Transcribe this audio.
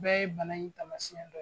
Bɛɛ ye bana in taamasiyɛn dɔ ye.